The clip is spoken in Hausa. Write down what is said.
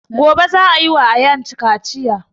Gobe za a yi wa ayaan kaciya